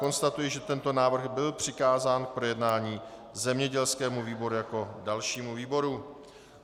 Konstatuji, že tento návrh byl přikázán k projednání zemědělskému výboru jako dalšímu výboru.